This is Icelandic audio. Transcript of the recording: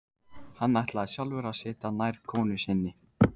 Hann ætlaði sjálfur að sitja nær konu sinni.